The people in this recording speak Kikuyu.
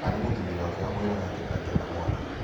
Kana nĩ mũthuri wake wamwĩraga atĩ ndangĩenda mwana?